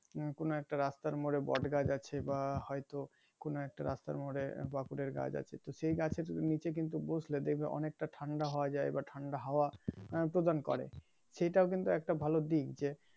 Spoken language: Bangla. উম কোন একটা রাস্তার মোড়ে বটগাছ আছে ্বা হয়তো, কোন একটা রাস্তার মোড়ে বকুলের গাছ আছে তো সে গাছের নিচে বসলে কিন্তু অনেকটা ঠাণ্ডা হওয়া যায় বা ঠান্ডা প্রদান করে